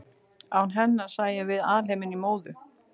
Án hennar sæjum við alheiminn í móðu.